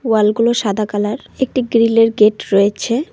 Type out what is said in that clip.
ওয়াল -গুলো সাদা কালার একটি গ্রীল -এর গেট রয়েছে।